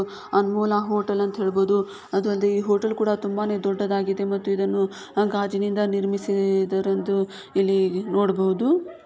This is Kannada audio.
ಅನ್ಮೋಲ ಅಹ್ ಹೋಟೆಲ್ ಅಂತಹೇಳಬಹುದು ಅದೂ ಅಲ್ಲದೆ ಈ ಹೋಟೆಲ್ ಕೂಡ ತುಂಬಾನೇ ದೊಡ್ಡದಾಗಿದೆ ಮತ್ತು ಇದನ್ನು ಗಾಜಿನಿಂದ ನಿರ್ಮಿಸಿ ಈ ಇದರೆಂದು ಇಲ್ಲಿ ನೋಡಬಹುದು.